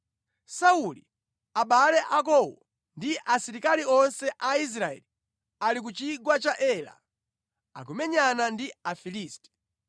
Sauli, abale akowo ndi asilikali onse a Israeli ali ku chigwa cha Ela, akumenyana ndi Afilisti.”